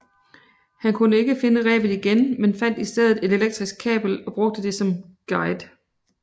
Han kunne ikke finde rebet igen men fandt i stedet et elektrisk kabel og brugte det som guide